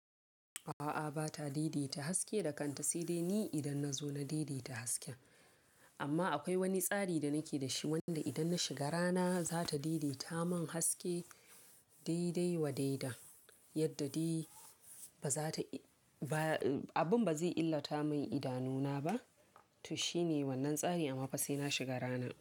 A'a bata daidaita haske da kanta sai dai ni idan na zo na daidaita haske. Amma akwai wani tsari da nake da shi wanda idan na shiga rana za ta daidaita mun haske daidai wa daida. Yadda dai ba za ta, abun ba zai illata mun idanuna ba. To shine wannan tsari amma fasina shiga rana.